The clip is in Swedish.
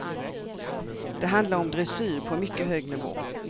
Det handlar om dressyr på mycket hög nivå.